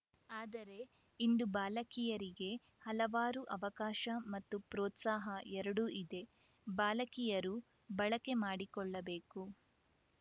ಆದರೆ ಇಂದು ಬಾಲಕಿಯರಿಗೆ ಹಲವಾರು ಅವಕಾಶ ಮತ್ತು ಪ್ರೋತ್ಸಾಹ ಎರಡೂ ಇದೆ ಬಾಲಕಿಯರು ಬಳಕೆ ಮಾಡಿಕೊಳ್ಳಬೇಕು